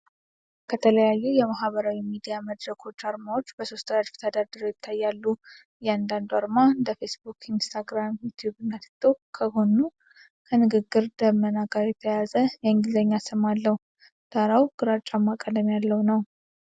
ከተለያዩ የማህበራዊ ሚዲያ መድረኮች አርማዎች በሦስት ረድፍ ተደርድረው ይታያሉ። እያንዳንዱ አርማ (እንደ ፌስቡክ፣ ኢንስታግራም፣ ዩቲዩብ እና ቲክቶክ) ከጎኑ ከንግግር ደመና ጋር የተያያዘ የእንግሊዝኛ ስም አለው። ዳራው ግራጫማ ቀለም ያለው ነው።